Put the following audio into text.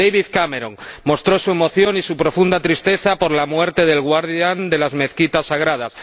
David Cameron mostró su emoción y su profunda tristeza por la muerte del guardián de las mezquitas sagradas